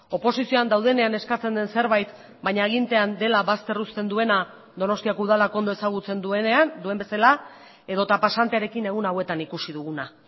oposizioan daudenean eskatzen den zerbait baina agintean dela bazter uzten duena donostiako udalak ondo ezagutzen duenean duen bezala edota pasantearekin egun hauetan ikusi duguna